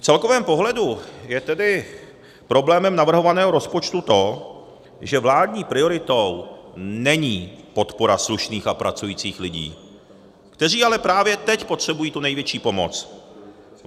V celkovém pohledu je tedy problémem navrhovaného rozpočtu to, že vládní prioritou není podpora slušných a pracujících lidí, kteří ale právě teď potřebují tu největší pomoc.